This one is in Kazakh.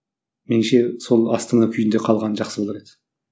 меніңше сол астана күйінде қалғаны жақсы болар еді